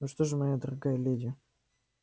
ну что же моя дорогая леди